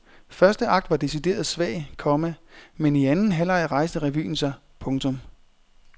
Første akt var decideret svag, komma men i anden halvleg rejste revyen sig. punktum